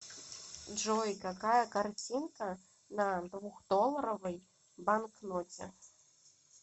джой какая картинка на двухдолларовой банкноте